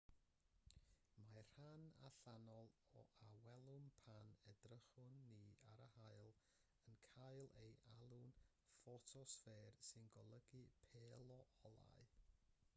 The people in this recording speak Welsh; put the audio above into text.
mae'r rhan allanol a welwn pan edrychwn ni ar yr haul yn cael ei alw'n ffotosffer sy'n golygu pêl o olau